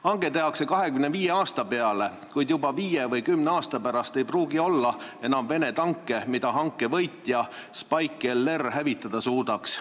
Hange tehakse 25 aasta peale, kuid juba viie või kümne aasta pärast ei pruugi olla enam Vene tanke, mida hanke võitja pakutav Spike-LR hävitada suudaks.